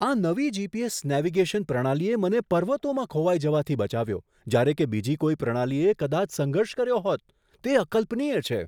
આ નવી GPS. Navigation પ્રણાલીએ મને પર્વતોમાં ખોવાઈ જવાથી બચાવ્યો, જ્યારે કે બીજી કોઈ પ્રણાલીએ કદાચ સંઘર્ષ કર્યો હોત. તે અકલ્પનીય છે!